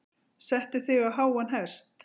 Setur sig á háan hest.